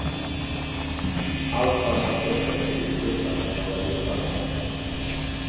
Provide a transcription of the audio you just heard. Allt för att man ska upptäcka tjuvskyttar som jagar hjortar om nätterna.